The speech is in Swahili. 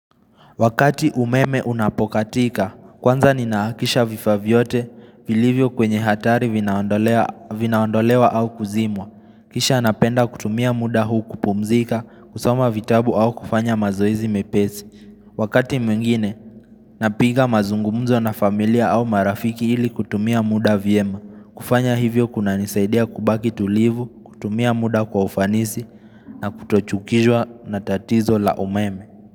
Wakati umeme unapokatika, kwanza ninahakikisha vifaa vyote vilivyo kwenye hatari vinaondolewa au kuzimwa. Kisha napenda kutumia muda huu kupumzika, kusoma vitabu au kufanya mazoezi mepesi. Wakati mwingine, napiga mazungumzo na familia au marafiki ili kutumia muda vyema. Kufanya hivyo kunanisaidia kubaki tulivu, kutumia muda kwa ufanisi na kutochukizwa na tatizo la umeme.